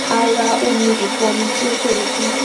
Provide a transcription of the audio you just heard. a ra omi ìfọnu tí ó tóbi fún